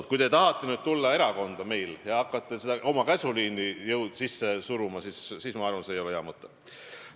Aga kui te tahate tulla meie erakonda ja hakata oma käsuliini sisse suruma, siis, ma arvan, see ei ole hea mõte.